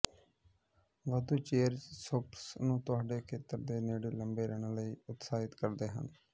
ਵਾਧੂ chairs shoppers ਨੂੰ ਤੁਹਾਡੇ ਖੇਤਰ ਦੇ ਨੇੜੇ ਲੰਬੇ ਰਹਿਣ ਲਈ ਉਤਸ਼ਾਹਿਤ ਕਰਦੇ ਹਨ